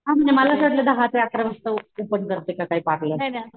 हा म्हणजे मला असं वाटलं दहा ते आकरा वाजता ओपन करते का काय पार्लर